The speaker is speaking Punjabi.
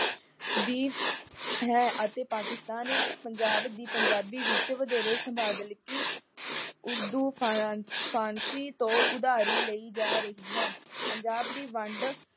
ਦੀ ਹੈ ਅਤੇ ਪਾਕਿਸਤਾਨ ਪੰਜਾਬ ਦੀ ਪੰਜਾਬੀ ਵਿੱਚ ਵਧੇਰੇ ਊਰਦ ਫਰਾਂਸੀ ਤੋਂ ਉਦਾਰੀ ਲਈ ਜਾ ਰਹੀ ਹੈ। ਪੰਜਾਬ ਦੀ ਵੰਡ